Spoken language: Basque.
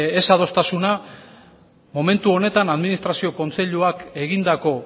desadostasuna momentu honetan administrazio kontseiluak egindako